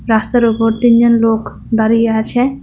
রাস্তার ওপর তিনজন লোক দাঁড়িয়ে আছে।